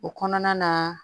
O kɔnɔna na